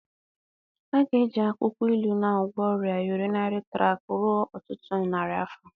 A ga-eji akwụkwọ ilu na-agwọ ọrịa urinary tract ruo ọtụtụ narị afọ.